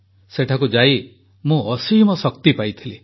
ସେଠାକୁ ଯାଇ ମୁଁ ଅସୀମ ଶକ୍ତି ପାଇଥିଲି